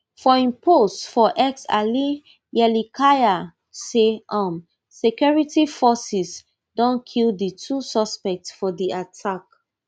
for im post for x ali yerlikaya say um security forces don kill di two suspects for di attack